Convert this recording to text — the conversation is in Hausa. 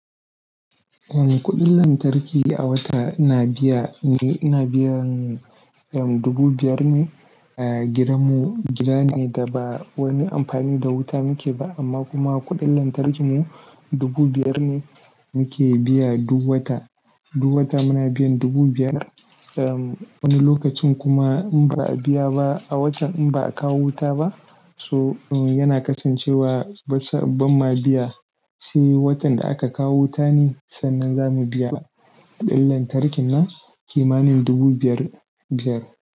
Uhm, kuɗin lantarki a wata ina biya ne, ina biyan uhm, dubu biyar ne. Eh, gidanmu gida ne da ba wani amfani da wuta muke ba, amma kuma kuɗin lantarkinmu dubu biyar ne muke biya duk wata. Duk wata muna biyan dubu biyar. Uhm wani lokacin kuma in ba a biya ba a watan in ba a kawo wuta ba so yana kasancewa basa, bam ma biya. Sai watan da aka kawo wuta ne sannan za mu biya kuɗin lantarkin na kimanin dubu biyar biyar.